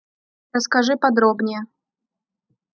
расскажи подробнее